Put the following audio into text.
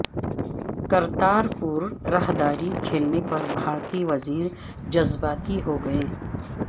کرتار پور راہداری کھلنے پر بھارتی وزیر جذباتی ہو گئیں